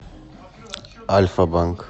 альфа банк